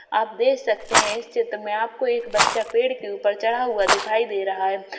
आप देख सकते हैं इस चित्र में आपको एक बच्चा पेड़ के ऊपर चढ़ा हुआ दिखाई दे रहा है।